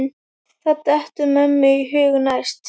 Hvað dettur mönnum í hug næst?